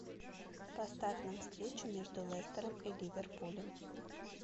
поставь нам встречу между лестером и ливерпулем